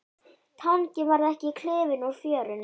Tanginn varð ekki klifinn úr fjörunni.